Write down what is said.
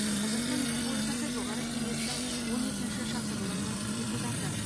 қазақстан республикасы жоғарғы кеңесінің он екінші шақырылымының депутаты